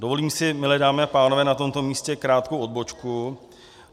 Dovolím si, milé dámy a pánové, na tomto místě krátkou odbočku.